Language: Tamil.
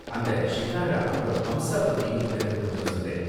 அந்த ஷிகாரா அப்பறம் ஹம்ஸா பத்தியும் எனக்கு கொஞ்சம் சொல்லேன்.